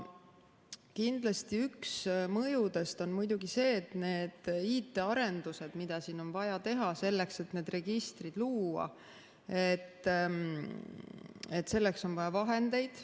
Kindlasti üks mõjudest on see, et nende IT‑arenduste jaoks, mida siin on vaja teha selleks, et need registrid luua, on vaja vahendeid.